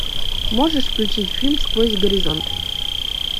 можешь включить фильм сквозь горизонт